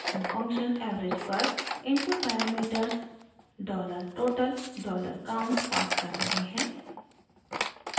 हम function average पर input parameters $total $count pass कर रहे हैं